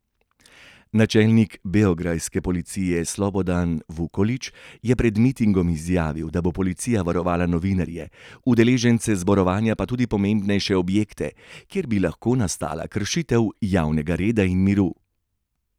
Načelnik beograjske policije Slobodan Vukolić je pred mitingom izjavil, da bo policija varovala novinarje, udeležence zborovanja pa tudi pomembnejše objekte, kjer bi lahko nastala kršitev javnega reda in miru.